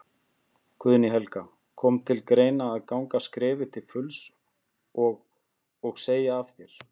Guðný Helga: Kom til greina að ganga skrefið til fulls og, og segja af þér?